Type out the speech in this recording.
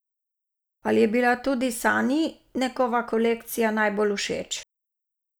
Ali je bila tudi Sanji njegova kolekcija najbolj všeč?